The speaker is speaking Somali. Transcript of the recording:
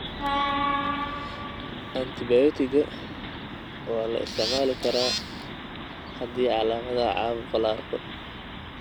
Antibiyootiga waa la isticmaali karaa haddii calaamadaha caabuqa la arko.